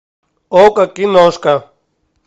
окко киношка